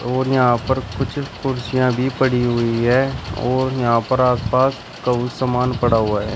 और यहां पर कुछ कुर्सियां भी पड़ी हुई है और यहां पर आस पास कोई सामान पड़ा हुआ है।